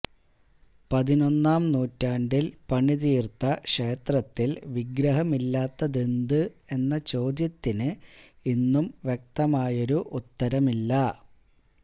പതിനൊന്നാം നൂറ്റാണ്ടില് പണിതീര്ത്ത ക്ഷേത്രത്തില് വിഗ്രഹമില്ലാത്തതെന്ത് എന്ന ചോദ്യത്തിന് ഇന്നും വ്യക്തമായൊരു ഉത്തരമില്ല